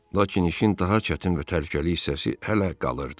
Lakin işin daha çətin və təhlükəli hissəsi hələ qalırdı.